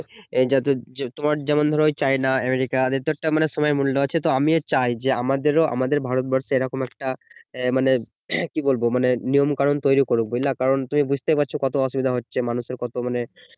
এ জাতীয় তোমার যেমন ধরো চাইনা, আমেরিকা এদের তো একটা সময় এর মূল্য আছে তো আমি ও চাই যে আমাদেরও আমাদের ভারতবর্ষে এরকম একটা মানে কি বলবো মানে নিয়ম কানুন তৈরী করুক বুঝলা কারণ তুমি বুঝতেই পারছো কত অসুবিধা হচ্ছে মানুষের কত মানে